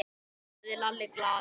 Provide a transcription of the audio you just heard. sagði Lalli glaður.